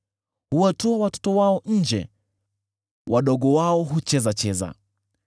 Huwatoa watoto wao nje kama kundi; wadogo wao huchezacheza.